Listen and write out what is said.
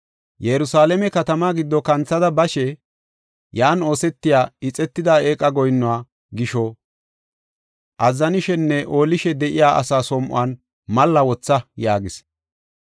“Yerusalaame katamaa giddo kanthada bashe, yan oosetiya ixetida eeqa goyinnuwa gisho azzanishenne oolishe de7iya asaa som7on malla wotha” yaagis.